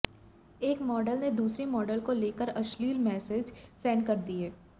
एक मॉडल ने दूसरी मॉडल को लेकर अश्लील मैसेज सेंड कर दिए